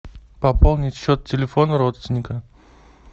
пополнить счет телефона родственника